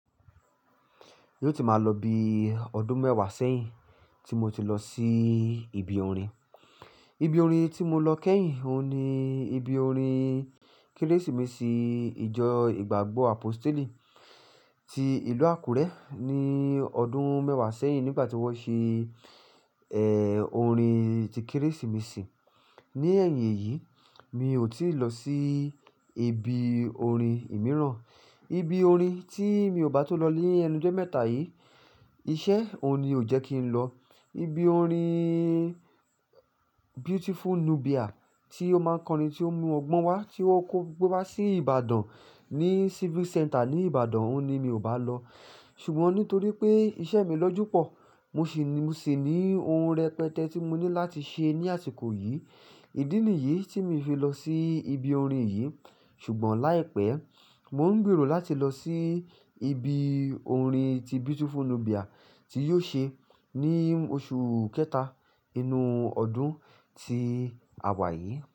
Yóò ti máa lọ bí ọdún mẹ́wàá sẹ́yìn tí mo ti lọ sí ibi orin. Ibi orin tí mo lọ kẹ́yìn, òun ni ibi orin Kérésìmesì ìjọ ìgbàgbọ́ Apostle ti ìlú Àkúrẹ́ ní ọdún mẹ́wàá sẹ́yìn nígbà tí wọ́n ṣe, ẹ́, orin ti Kérésìmesì. Ní ẹ̀yìn yìí mi ò tíì lọ sí ibi orin mìíràn. Ibi orin tí mi ò bá tun lọ ní ẹnujó mẹ́ta yìí, iṣẹ́ òun ni ò jẹ́ kí ń lọ. Ibi orin Beautiful Nubia tí ó máa kọrin tí ó mu ọgbọ́n wá tí o kó gbé wá sí Ìbàdàn, ní Civic Centre ní Ìbàdàn, òun ni mi ò bá lọ. Sùgbọ́n nítorí pé iṣẹ́ mi lọ jù pọ̀, mo ṣì ní ohun rẹpẹtẹ tí mo ní láti ṣe ní àsìkò yìí. Ìdí nìyí tí mi fi lọ sí ibi orin yìí. Sùgbọ́n láìpẹ́, mo ń gberò láti lọ sí ibi orin ti Beautiful Nubia ti yóò ṣe ní oṣù kẹta inú ọdún tí a wà yìí.